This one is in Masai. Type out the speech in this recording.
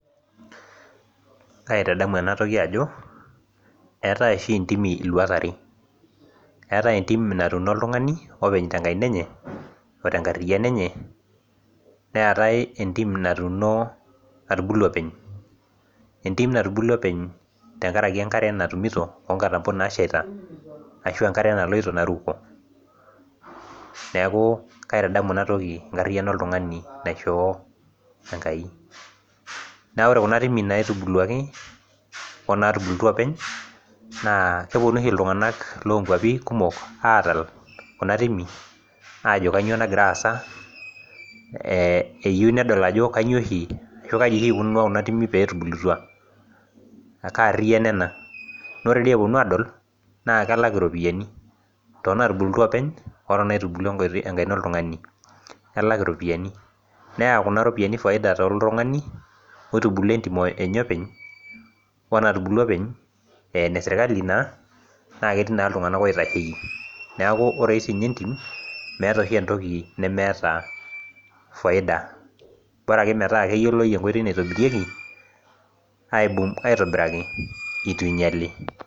Aitadamu ena toki ajo eetae oshi ntimi luat are, eetae entim natuuno oltungani openy tenkariyaino enye, ote nkaina enye, neetae entim natubulua openy tenkaraki enkare oo nkatampo nasheita. ashu enkare naloito naruko. neeku kaitadamu Ina toki enkariyiano oltungani naishoo Enkai. naa ore Kuna timi naitbuluaki onaai tubuluaku oopeny. naa kepuonu oshi iltunganak loo kuapi kumok aatal Kuna timi. aajo kainyioo nagira aasa. eyieu nedoli. Ajo kaji Iko Kuna timi peetubulutua. ashu kaariyiano ena. Ore epuonu aadol naa kelak iropiyiani toonatubulutia openy. onaitubulua enkaina oltungani. neya Kuna ropiyiani faida toltungani. oitubulia entim enye openy omatubulua openy ,aa enesirkali taa. ore so sii ninye. Entim meeta oshi entoki nemeeta faida. bora ake metaa keetae enkoitoi naitobirieki. aitobiraki eitu eingali.